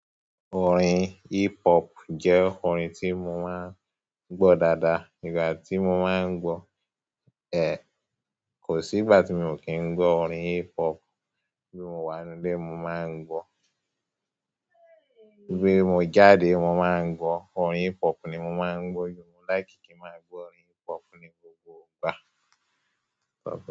Orin hip hop jẹ́ orin tí mo máa ń gbọ́ dáadáa. Nígbà tí mo máa ń gbọ́, ẹ, kò sí ìgbà tí mi o kì í gbọ́ orin hip hop. Bí mo wá inú ilé, mo máa ń gbọ́. Bí mo jáde, mo máa ń gbọ́. Orin hip hop ni mo máa ń gbọ́. Yo, mo láìkì kí n máa gbọ́ orin hip hop ní gbogbo ìgbà.